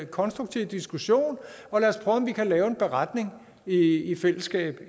konstruktiv diskussion og lad os prøve om vi kan lave en beretning i i fællesskab